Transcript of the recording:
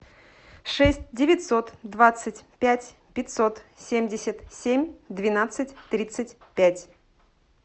шесть девятьсот двадцать пять пятьсот семьдесят семь двенадцать тридцать пять